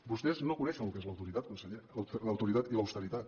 vostès no coneixen el que és l’autoritat conseller l’autoritat i l’austeritat